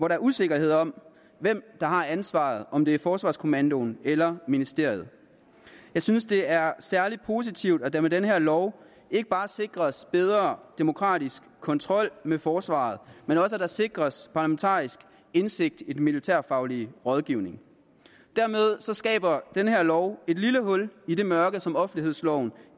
er usikkerhed om hvem der har ansvaret om det er forsvarskommandoen eller ministeriet jeg synes det er særlig positivt at der med den her lov ikke bare sikres bedre demokratisk kontrol med forsvaret men også at der sikres parlamentarisk indsigt i den militærfaglige rådgivning dermed skaber den her lov et lille hul i det mørke som offentlighedsloven